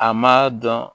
A ma dɔn